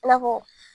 I n'a fɔ